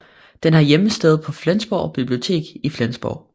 Den har hjemsted på Flensborg Bibliotek i Flensborg